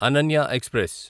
Ananya express